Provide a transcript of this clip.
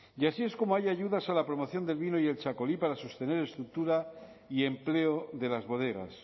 y así es como hay ayudas a la promoción del vino y el txakolí para sostener estructura y empleo de las bodegas